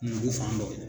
Nugu fan dɔ